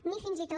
ni fins i tot